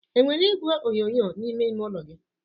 enwere igwe onyonyo n'ime ime ụlọ gị?